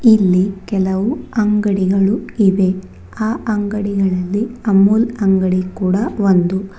ಇಲ್ಲಿ ಕೆಲವು ಅಂಗಡಿಗಳು ಇವೆ ಆ ಅಂಗಡಿಗಳಲ್ಲಿ ಅಮೂಲ್ ಅಂಗಡಿ ಕೂಡ ಒಂದು.